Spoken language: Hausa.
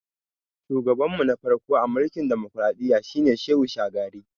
Shugaban mu na farko a mulkin dimokradiyya shi ne Shehu Shagari